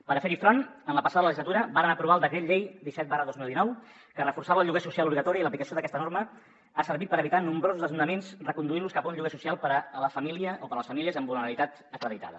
per fer hi front en la passada legislatura vàrem aprovar el decret llei disset dos mil dinou que reforçava el lloguer social obligatori i l’aplicació d’aquesta norma ha servit per evitar nombrosos desnonaments reconduint los cap a un lloguer social per a la família o per a les famílies amb vulnerabilitat acreditada